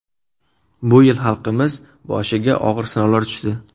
Bu yil xalqimiz boshiga og‘ir sinovlar tushdi.